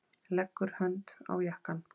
Leggur hönd á jakkann.